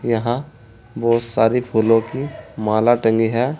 यहाँ बहुत सारी फूलों की माला टंगी है।